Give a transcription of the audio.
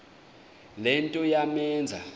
le nto yamenza